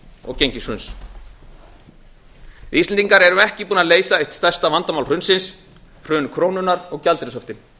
og gengishruns við íslendingar erum ekki búin að leysa eitt stærsta vandamál hrunsins hrun krónunnar og gjaldeyrishöftin